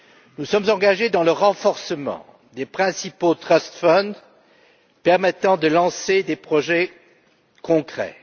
Nous sommes engagés dans le renforcement des principaux trust funds permettant de lancer des projets concrets.